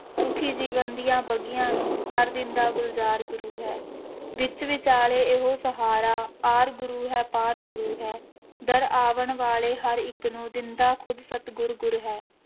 ਸੁੱਖੀ ਜੀਵਨ ਦੀਆਂ ਵਗੀਆਂ ਨੂੰ ਕਰ ਦਿੰਦਾ ਗੁਲਜ਼ਾਰ ਗੁਰੂ ਹੈ, ਵਿੱਚ ਵਿਚਾਲੇ ਇਹੋ ਸਹਾਰਾ ਆਰ ਗੁਰੂ ਹੈ ਪਾਰ ਗੁਰੂ ਹੈ, ਦਰ ਆਵਣ ਵਾਲੇ ਹਰ ਇੱਕ ਨੂੰ ਦਿੰਦਾ ਖੁਦ ਸਤਿਗੁਰ ਗੁਰ ਹੈ।